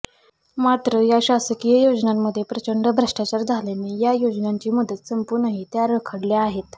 मात्र या शासकीय योजनांमध्ये प्रचंड भ्रष्टाचार झाल्याने या योजनांची मुदत संपूनही त्या रखडल्या आहेत